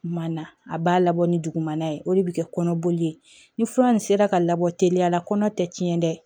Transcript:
Kuma na a b'a labɔ ni dugumana ye o de bɛ kɛ kɔnɔboli ye ni fura nin sera ka labɔ teliya la kɔnɔ tɛ tiɲɛ dɛ